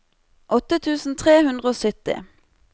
åtte tusen tre hundre og sytti